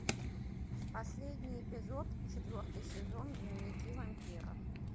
последний эпизод четвертый сезон дневники вампира